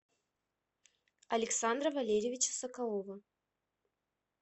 александра валерьевича соколова